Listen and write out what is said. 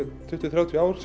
tuttugu til þrjátíu ár